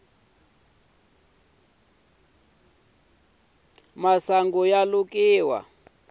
masungu ya lukiwa